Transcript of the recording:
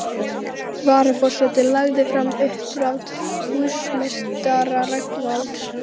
Varaforseti lagði fram uppdrátt húsameistara Rögnvalds